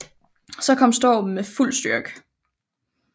Så kom stormen med fuld styrke